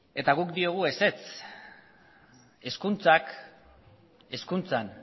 guk diogu ezetz hezkuntza hezkuntzan